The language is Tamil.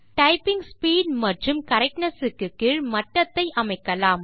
டைப்பிங் ஸ்பீட் மற்றும் கரக்ட்னெஸ் க்கு கீழ் மட்டத்தை அமைக்கலாம்